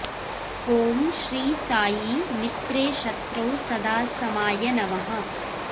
ॐ श्री साई मित्रे शत्रौ सदा समाय नमः